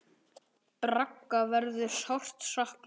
Braga verður sárt saknað.